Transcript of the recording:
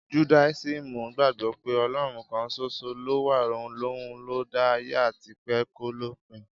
Judáisímù gbagbo pẹ́ Ọlọ́run kan soso lówà, òun ló da ayé àtipẹ́ kòlópin.